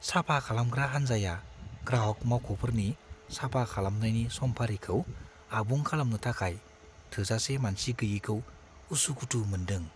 साफा खालामग्रा हानजाया ग्राहग मावख'फोरनि साफा खालामनायनि समफारिखौ आबुं खालामनो थाखाय थोजासे मानसि गैयैखौ उसुखुथु मोनदों।